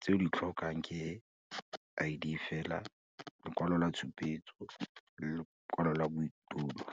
tse o di tlhokang ke I_D fela, lekwalo la tshupetso, le lekwalo la bodulo.